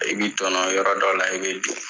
I bɛ tɔnɔ yɔrɔ dɔ la i b bɛ dun.